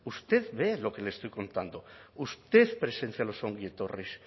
usted ve lo que le estoy contando usted presencia los ongietorris